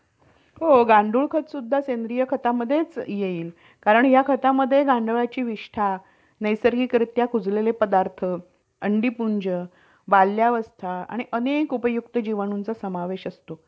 तर त्या pandemics मध्ये हि गोष्ट like COVID ची च गोष्ट spread करायला telecommunication ने खूप मोठा role play केलेला आहे कि त्याच्याशी related awareness त्याच्याशी related जागरूकता